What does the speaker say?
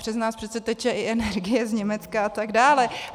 Přes nás přece teče i energie z Německa a tak dále.